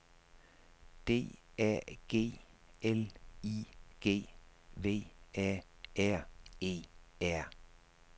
D A G L I G V A R E R